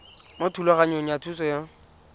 mo thulaganyong ya thuso y